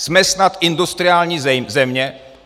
Jsme snad industriální země?